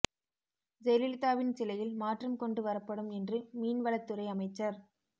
ஜெயலலிதாவின் சிலையில் மாற்றம் கொண்டு வரப்படும் என்று மீன் வளத்துறை அமைச்சர்